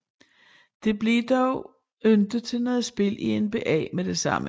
Det blev dog ikke til noget spil i NBA med det samme